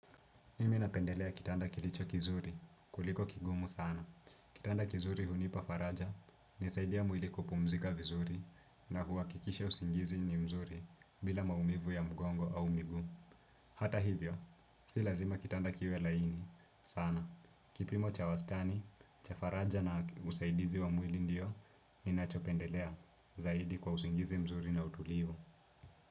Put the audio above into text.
Mimi napendelea kitanda kilicho kizuri kuliko kigumu sana. Kitanda kizuri hunipa faraja, nisaidia mwili kupumzika vizuri na huwakikisha usingizi ni mzuri, bila maumivu ya mgongo au miguu. Hata hivyo, si lazima kitanda kiwe laini, sana. Kipimo cha wastani, cha faraja na usaidizi wa mwili ndio, ninachopendelea zaidi kwa usingizi mzuri na utulivu.